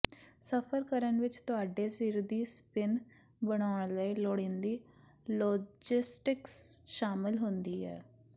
ਸਫ਼ਰ ਕਰਨ ਵਿੱਚ ਤੁਹਾਡੇ ਸਿਰ ਦੀ ਸਪਿਨ ਬਣਾਉਣ ਲਈ ਲੋੜੀਂਦੀ ਲੋਜਿਸਟਿਕਸ ਸ਼ਾਮਲ ਹੁੰਦੀ ਹੈ